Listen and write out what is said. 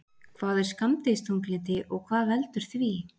Hvað er skammdegisþunglyndi og hvað veldur því?